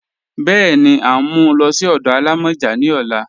Bẹ́ẹni, à n mú ú lọ sí ọdọ àlàmọjá ní ọ̀là